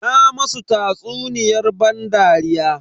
Na masu tsatsuniyar ban dariya.